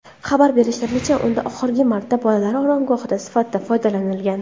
Xabar berishlaricha, undan oxirgi marta bolalar oromgohi sifatida foydalanilgan.